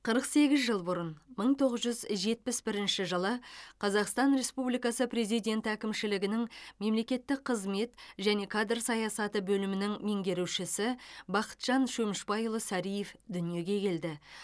қырық сегіз жыл бұрын мың тоғыз жүз жетпіс бірінші жылы қазақстан республикасы президенті әкімшілігінің мемлекеттік қызмет және кадр саясаты бөлімінің меңгерушісі бақытжан шөмішбайұлы сариев дүниеге келді